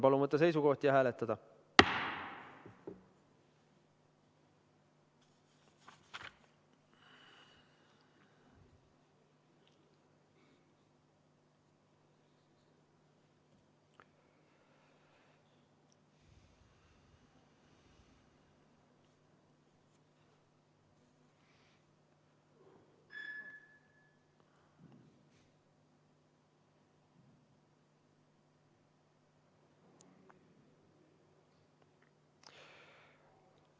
Palun võtta seisukoht ja hääletada!